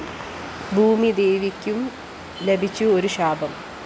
ഭൂമിദേവിക്കും ലഭിച്ചു ഒരു ശാപം